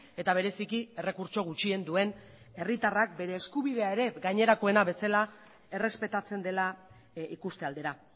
eta bereziki errekurtso gutxien duen herritarrak bere eskubidea ere gainerakoena bezala errespetatzen dela ikuste aldera